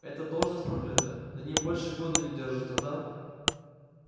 эта должность проклята на ней больше года не держатся да